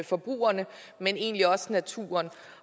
forbrugerne men egentlig også naturen